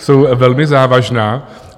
Jsou velmi závažná.